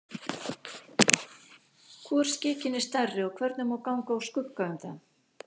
Hvor skikinn er stærri og hvernig má ganga úr skugga um það?